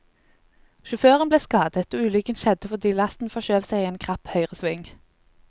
Sjåføren ble skadet, og ulykken skjedde fordi lasten forskjøv seg i en krapp høyresving.